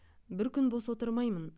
бір күн бос отырмаймын